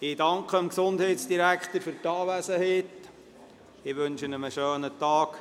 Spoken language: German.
Ich danke dem Gesundheitsdirektor für die Anwesenheit und wünsche ihm einen schönen Tag.